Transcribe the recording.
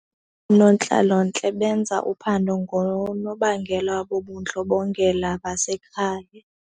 Oonontlalontle benza uphando ngoonobangela bobundlobongela basekhaya.